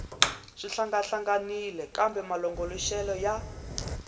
swi hlangahlanganile kambe malongoloxelo ya